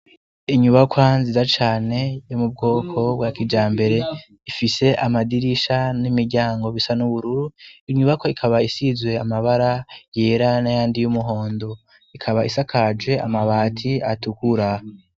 Inyubakwa ziza cane yo mu bwoko bwa kija mbere ifise amadirisha n'imiryango bisa n'ubururu inyubako ikaba isizwe amabara yera na yandi y'umuhondo ikaba isakaje amabati atukura.